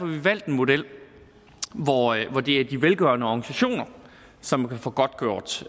vi valgt en model hvor det er de velgørende organisationer som kan få godtgjort